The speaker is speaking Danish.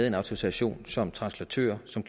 en autorisation som translatør som